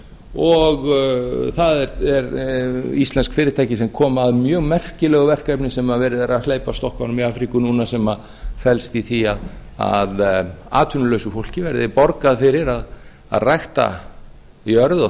og það eru íslensk fyrirtæki sem komu að mjög merkilegu verkefni sem verið er að hleypa af stokkunum í afríku núna sem felst í því að atvinnulausu fólki verði borgað fyrir að rækta jörð og